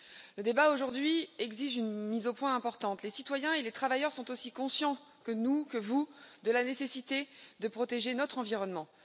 Le débat aujourd'hui exige une mise au point importante les citoyens et les travailleurs sont aussi conscients que nous et que vous de la nécessité de protéger notre environnement.